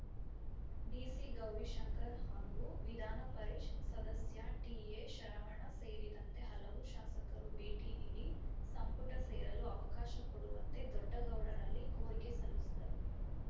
ಡಿಸಿಗೌರಿಶಂಕರ್‌ ಹಾಗೂ ವಿಧಾನಪರಿಷ್‌ ಸದಸ್ಯ ಟಿಎಶರವಣ ಸೇರಿದಂತೆ ಹಲವು ಶಾಸಕರು ಭೇಟಿ ನೀಡಿ ಸಂಪುಟ ಸೇರಲು ಅವಕಾಶ ಕೊಡುವಂತೆ ದೊಡ್ಡಗೌಡರಲ್ಲಿ ಕೋರಿಕೆ ಸಲ್ಲಿಸಿದರು